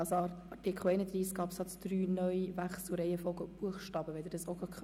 Es wäre gut, wenn Sie dies ebenfalls in Ihre Voten einbeziehen könnten.